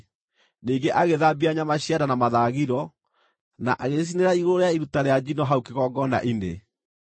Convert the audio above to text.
Ningĩ agĩthambia nyama cia nda na mathagiro na agĩcicinĩra igũrũ rĩa iruta rĩa njino hau kĩgongona-inĩ.